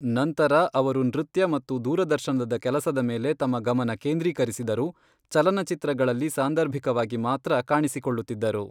ನಂತರ ಅವರು ನೃತ್ಯ ಮತ್ತು ದೂರದರ್ಶನದ ಕೆಲಸದ ಮೇಲೆ ತಮ್ಮ ಗಮನ ಕೇಂದ್ರೀಕರಿಸಿದರು, ಚಲನಚಿತ್ರಗಳಲ್ಲಿ ಸಾಂದರ್ಭಿಕವಾಗಿ ಮಾತ್ರ ಕಾಣಿಸಿಕೊಳ್ಳುತ್ತಿದ್ದರು.